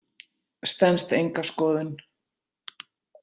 Stenst enga skoðun.